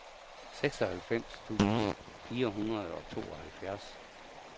seksoghalvfems tusind fire hundrede og tooghalvfjerds